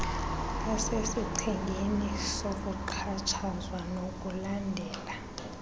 asesichengeni sokuxhatshazwa nokulandela